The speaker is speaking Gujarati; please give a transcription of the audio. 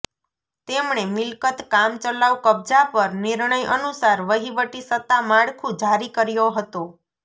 તેમણે મિલકત કામચલાઉ કબજા પર નિર્ણય અનુસાર વહીવટી સત્તા માળખું જારી કર્યો હતો